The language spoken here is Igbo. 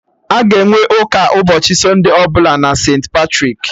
Aga enwe ụka ụbọchị sunde ọbụla na St.Patrik